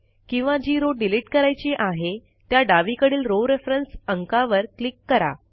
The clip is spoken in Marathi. किंवा जी रो डिलिट करायची आहे त्या डावीकडील रॉव रेफरन्स अंकावर क्लिक करा